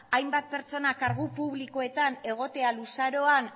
hainbat pertsona kargu publikoetan egotea luzaroan